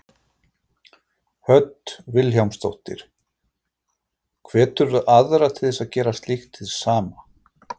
Hödd Vilhjálmsdóttir: Hveturðu aðra til að gera slíkt hið sama?